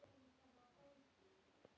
Það gaf mér mikinn styrk.